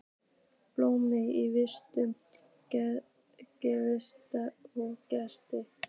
Blómin í vinstri, regnhlíf í hægri.